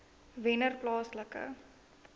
wennerplaaslike